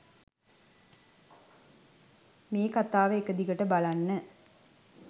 මේ කතාව එකදිගට බලන්න.